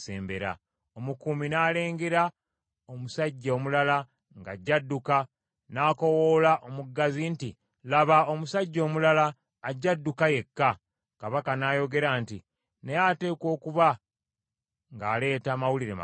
Omukuumi n’alengera omusajja omulala ng’ajja adduka, n’akoowoola omuggazi nti, “Laba omusajja omulala ajja adduka yekka.” Kabaka n’ayogera nti, “Naye ateekwa okuba ng’aleeta mawulire malungi.”